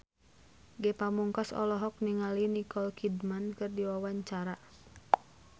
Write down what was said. Ge Pamungkas olohok ningali Nicole Kidman keur diwawancara